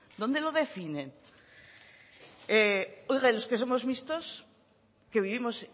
dónde lo definen oiga y los que somos mixtos que vivimos